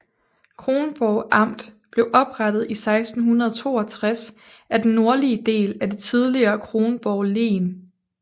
Kronborg Amt blev oprettet i 1662 af den nordlige del af det tidligere Kronborg Len